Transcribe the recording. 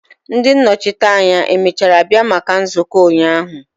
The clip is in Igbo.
Ndi nnochite anya emechara bia maka nzuko ụnyahụ?